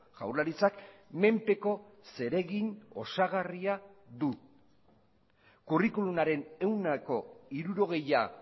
jaurlaritzak menpeko zeregin osagarria du kurrikulumaren ehuneko hirurogeia